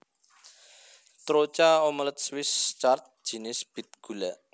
Troucha omelet Swiss Chard jinis bit gula